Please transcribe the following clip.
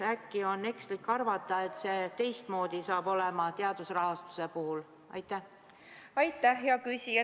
Äkki on ekslik arvata, et teadusrahastuse puhul on teistmoodi?